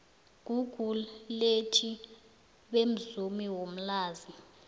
google lethi bemzumi wolwazi